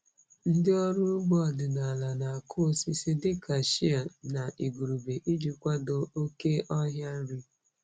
Ndị ọrụ ugbo ọdịnala na-akụ osisi dịka shea na igurube iji kwado oke ọhịa nri.